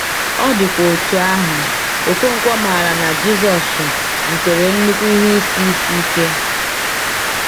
Ọ dịkwa otú ahụ, Okonkwo maara na Jisọshụ zutere nnukwu ihe isi isi ike.